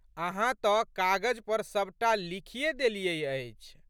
अहाँ तऽ कागज पर सबटा लिखिए देलियै अछि।